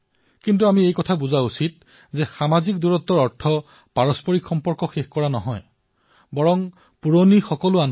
কিন্তু আমি এয়া বুজিব লাগিব যে সামাজিক ব্যৱধান মানে সামাজিক মিলামিছা বন্ধ কৰা নহয়